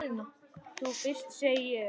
Þú fyrst, segi ég.